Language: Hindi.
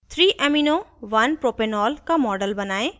3amino1propanol का model बनायें